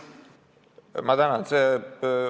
Ma tänan!